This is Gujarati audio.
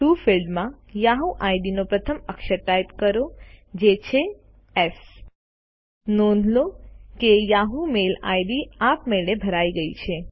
ટીઓ ફિલ્ડમાં યાહુ આઈડી નો પ્રથમ અક્ષર ટાઈપ કરોજે છે એસ છે નોંધ લો કે યાહુ મેઈલ આઈડી આપમેળે ભરાઈ ગયી છે